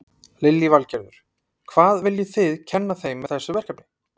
Lillý Valgerður: Hvað viljið þið kenna þeim með þessu verkefni?